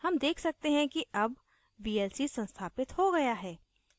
हम देख सकते हैं कि अब vlc संस्थापित हो गया है